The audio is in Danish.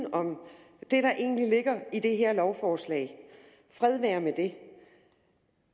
jeg der egentlig ligger i det her lovforslag fred være med det